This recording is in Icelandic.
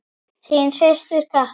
Þín systir Katla.